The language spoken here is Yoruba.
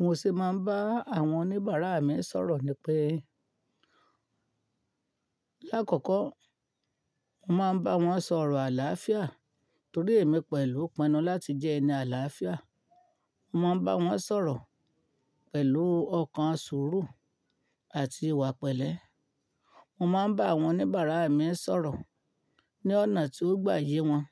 Mo ṣe máa ń bá àwọn oníbàárà mi sọ̀rọ̀ ni pé, lákọ̀ọ̀kọ́ mo máa ń bá wọn sọ̀rọ̀ àlàáfíà torí èmi pẹ̀lú pinnu láti jẹ́ ẹni àlàáfíà. Mo máa ń bá wọn sọ̀rọ̀ pẹ̀lú ọkàn sùúru àti ìwà pẹ̀lẹ́. Mo máa ń bá àwọn oníbàárà mi sọ̀rọ̀ ní ọ̀nà tí ó gbaye wọn